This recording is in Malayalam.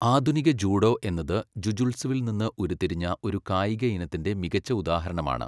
ആധുനിക ജൂഡോ എന്നത് ജുജുത്സുവിൽ നിന്ന് ഉരുത്തിരിഞ്ഞ ഒരു കായിക ഇനത്തിൻ്റെ മികച്ച ഉദാഹരണമാണ്.